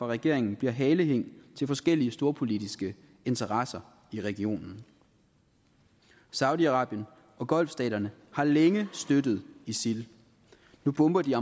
regeringen bliver halehæng til forskellige storpolitiske interesser i regionen saudi arabien og golfstaterne har længe støttet isil nu bomber de